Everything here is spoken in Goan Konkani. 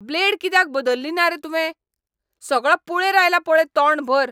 ब्लेड कित्याक बदल्ली ना रे तुंवें? सगळो पुळेर आयला पळय तोंडभर!